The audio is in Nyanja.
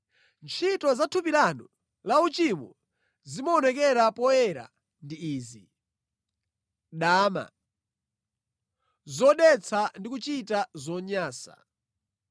Ntchito za thupi lanu la uchimo zimaonekera poyera ndi izi: dama, zodetsa ndi kuchita zonyansa;